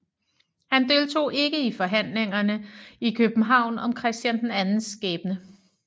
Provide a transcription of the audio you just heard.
Han deltog ikke i forhandlingerne i København om Christian IIs skæbne